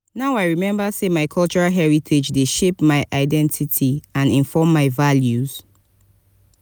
now i remember say my cultural heritage dey shape my identity and inform my values.